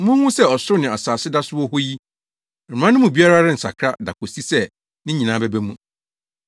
Munhu sɛ ɔsoro ne asase da so wɔ hɔ yi, Mmara no mu biribiara rensakra da kosi sɛ ne nyinaa bɛba mu.